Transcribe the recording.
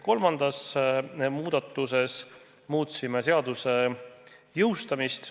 Kolmanda muudatusega muutsime seaduse jõustamist.